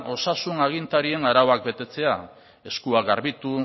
osasun agintarien arauak betetzea eskuak garbitu